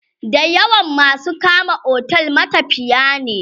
da yawan masu kama otel matafiya ne